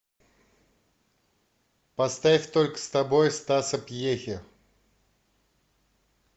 поставь только с тобой стаса пьехи